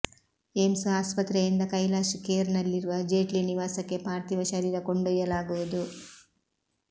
AIIMS ಆಸ್ಪತ್ರೆಯಿಂದ ಕೈಲಾಶ್ ಖೇರ್ನಲ್ಲಿರುವ ಜೇಟ್ಲಿ ನಿವಾಸಕ್ಕೆ ಪಾರ್ಥಿವ ಶರೀರ ಕೊಂಡೊಯ್ಯಲಾಗುವುದು